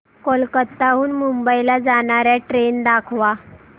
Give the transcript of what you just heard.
कोलकाता हून मुंबई ला जाणार्या ट्रेन दाखवा